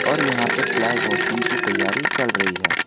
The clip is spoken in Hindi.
और यहां पे फ्लैग होस्टिंग की तैयारी चल रही है।